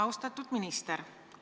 Austatud minister!